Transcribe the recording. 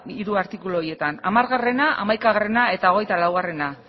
hiru artikulu horietan hamara hamaikagarrena eta hogeita laua